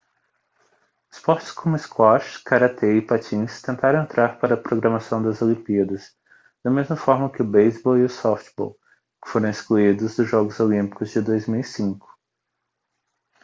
esportes como squash caratê e patins tentaram entrar para a programação das olimpíadas da mesma forma que o beisebol e o softbol que foram excluídos dos jogos olímpicos de 2005